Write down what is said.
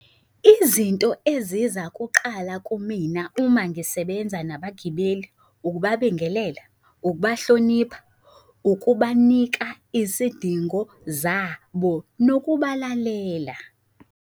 Izinto eziza kuqala kumina uma ngisebenza nabagibeli, ukubabingelela, ukubahlonipha, ukubanika isidingo zabo, nokubalalela.